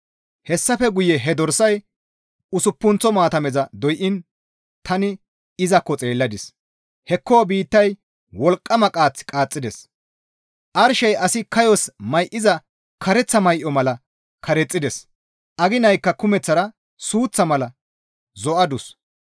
Hessafe guye he dorsay usuppunththo maatameza doyiin tani izakko xeelladis; hekko biittay wolqqama qaath qaaxxides; arshey asi kayos may7iza kareththa may7o mala karexxides; aginaykka kumeththara suuththa mala zo7adus.